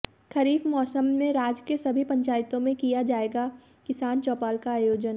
खरीफ मौसम में राज्य के सभी पंचायतों में किया जायेगा किसान चौपाल का आयोजन